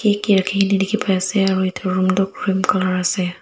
dae deke pa ase aro etu room tuh cream colour ase.